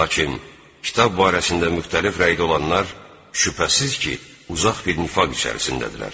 Lakin kitab barəsində müxtəlif rəydə olanlar şübhəsiz ki, uzaq bir nifaq içərisindədirlər.